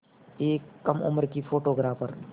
एक कम उम्र की फ़ोटोग्राफ़र